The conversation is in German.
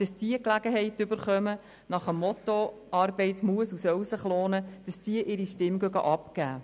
Persönlich möchte ich, dass diese nach dem Motto «Arbeit muss und soll sich lohnen» die Gelegenheit erhalten, ihre Stimme abzugeben.